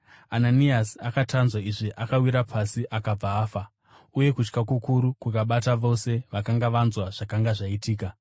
Ananiasi akati anzwa izvi, akawira pasi akabva afa. Uye kutya kukuru kwakabata vose vakanga vanzwa zvakanga zvaitika.